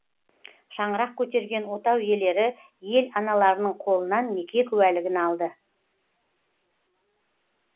шаңырақ көтерген отау иелері ел аналарының қолынан неке куәлігін алды